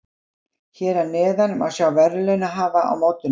Að einu leyti var ég þess vegna lengra komin á vegi sannleikans en foreldrar mínir.